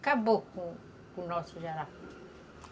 Acabou com com o nosso jará